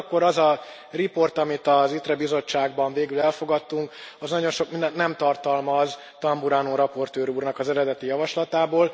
Ugyanakkor az a riport, amit az ITRE bizottságban végül elfogadtunk, az nagyon sok mindent nem tartalmaz Tamburrano raportőr úrnak az eredeti javaslatából.